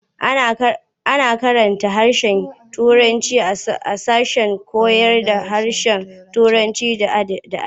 A na karanta harshen turanci a sashen koyarda harshen Turanci da adabi.